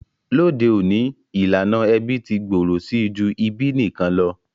Lóde ọ̀ní, ìlànà ẹbí ti gbòrò si ju ìbí nikan lo.